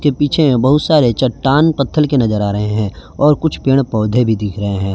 पीछे बहुत सारे चट्टान पत्थर के नजर आ रहे हैं और कुछ पेड़ पौधे भी दिख रहे हैं।